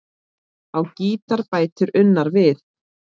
Á gítar bætir Unnar við.